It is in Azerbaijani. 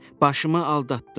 Başımı aldatdın.